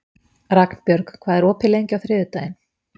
Ragnbjörg, hvað er opið lengi á þriðjudaginn?